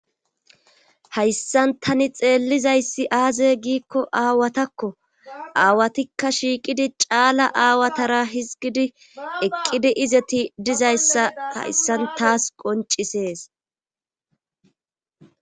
Hayssan tani xeellizayssi aaze giikko aawatakko aawatikka shiiqidi caala aawatara hizgidi eqqidi izeti dizayssa hayssan taas qoncisees.